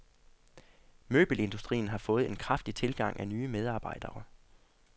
Møbelindustrien har fået en kraftig tilgang af nye medarbejdere.